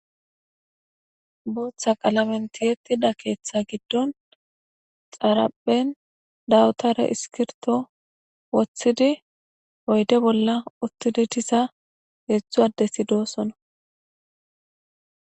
Bootha qalamentiyettida keeththa giddon xarapen dawutare iskirto wothidi oyde bolla uttidi tisa heedzdzu adde si doosona.